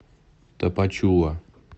тапачула